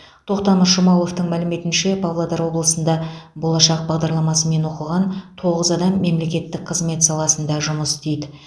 тоқтамыс жұмағұловтың мәліметінше павлодар облысында болашақ бағдарламасымен оқыған тоғыз адам мемлекеттік қызмет саласында жұмыс істейді